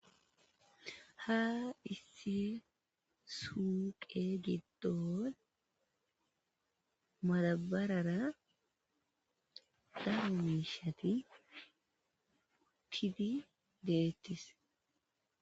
ha issi suuqe giddon madabarara damuumishati tifi deettis